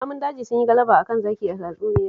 Namun daji sun yi galaba a kan zaki a tatsuniyar